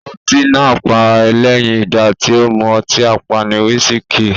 Ọtí náà pá lẹ́yìn ìgbà tì o mú ọtí apani "wisiki".